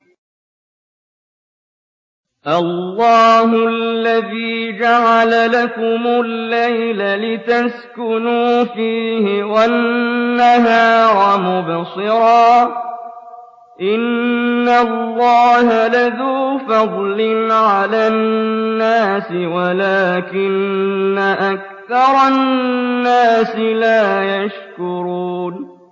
اللَّهُ الَّذِي جَعَلَ لَكُمُ اللَّيْلَ لِتَسْكُنُوا فِيهِ وَالنَّهَارَ مُبْصِرًا ۚ إِنَّ اللَّهَ لَذُو فَضْلٍ عَلَى النَّاسِ وَلَٰكِنَّ أَكْثَرَ النَّاسِ لَا يَشْكُرُونَ